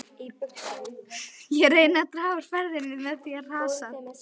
Ég reyni að draga úr ferðinni með því að hrasa.